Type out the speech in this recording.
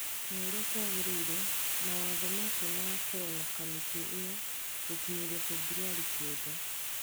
Ta ũria kwagĩrĩire, mawatho macio magakorũo na kamĩtĩ ĩyo gũkinyĩria Februarĩ kenda.